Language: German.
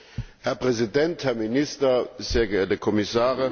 Herr Präsident, Herr Minister, sehr geehrte Kommissare!